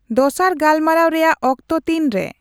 ᱫᱚᱥᱟᱨ ᱜᱟᱞᱢᱟᱨᱟᱣ ᱨᱮᱭᱟᱜ ᱚᱠᱛᱚ ᱛᱤᱨᱮ ?